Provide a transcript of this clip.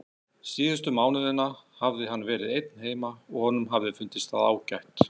Síðustu mánuðina hafði hann verið einn heima og honum hafði fundist það ágætt.